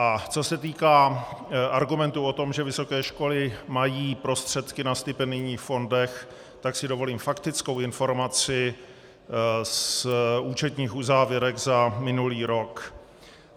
A co se týká argumentu o tom, že vysoké školy mají prostředky na stipendijních fondech, tak si dovolím faktickou informaci z účetních uzávěrek za minulý rok.